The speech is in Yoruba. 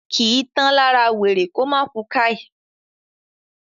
kìí tán lára wèrè kómá ku "káì"